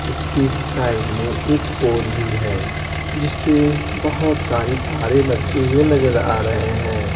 उसके साइड में एक पोल भी है जिस पे बहुत सारी तारे लटके हुए नजर आ रहे हैं।